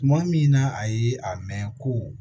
Tuma min na a ye a mɛn ko